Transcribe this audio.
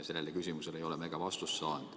Sellele küsimusele ei ole me vastust saanud.